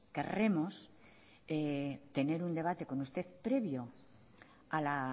querremos tener un debate con usted previo a la